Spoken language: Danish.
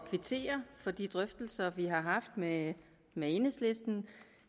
kvittere for de drøftelser vi har haft med med enhedslisten